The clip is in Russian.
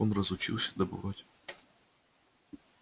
он разучился добывать